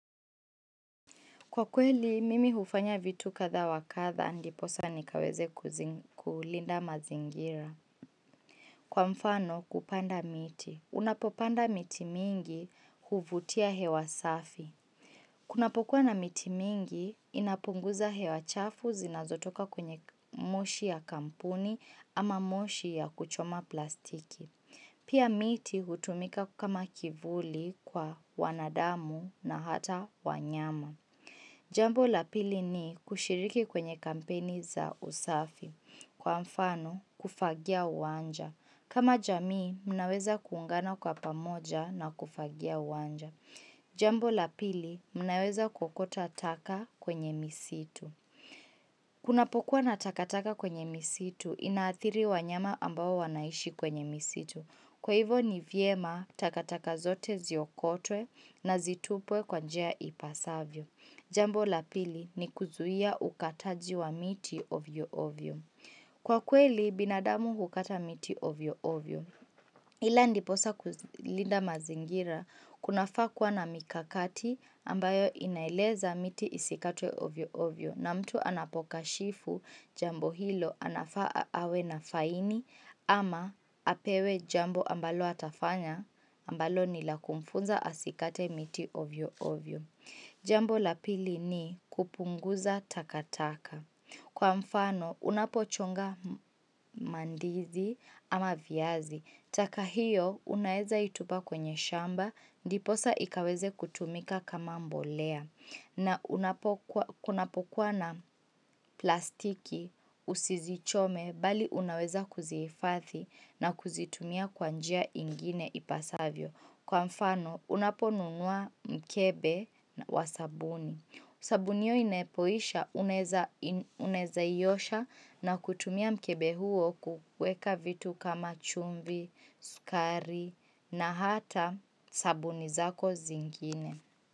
Kwa kweli, mimi hufanya vitu kadha wa kadha ndiposa nikaweze kulinda mazingira. Kwa mfano, kupanda miti. Unapopanda miti mingi huvutia hewa safi. Kuna pokua na miti mingi, inapunguza hewa chafu zinazotoka kunye moshi ya kampuni ama moshi ya kuchoma plastiki. Pia miti hutumika kama kivuli kwa wanadamu na hata wanyama. Jambo la pili ni kushiriki kwenye kampeni za usafi. Kwa mfano, kufagia uwanja. Kama jamii, mnaweza kuungana kwa pamoja na kufagia uwanja. Jambo la pili, mnaweza kuokota taka kwenye misitu. Kunapokuwa na takataka kwenye misitu inaathiri wanyama ambao wanaishi kwenye misitu. Kwa hivo ni vyema takataka zote ziokotwe na zitupwe kwa njia ipasavyo. Jambo la pili ni kuzuia ukataji wa miti ovyo ovyo. Kwa kweli binadamu hukata miti ovyo ovyo Ila ndiposa kulinda mazingira kunafaa kuwa na mikakati ambayo inaeleza miti isikatwe ovyo ovyo na mtu anapokashifu jambo hilo anafaa awe na faini ama apewe jambo ambalo atafanya ambalo ni la kumfunza asikate miti ovyo ovyo. Jambo la pili ni kupunguza takataka. Kwa mfano unapochonga mandizi ama viazi. Taka hiyo unaeza itupa kwenye shamba ndiposa ikaweze kutumika kama mbolea. Na kunapokuwa na plastiki usizichome bali unaweza kuzihifadhi na kuzitumia kwa njia ingine ipasavyo. Kwa mfano unaponunua mkebe wa sabuni sabuni hiyo inepoisha unaweza iosha na kutumia mkebe huo kuweka vitu kama chumvi, sukari na hata sabuni zako zingine.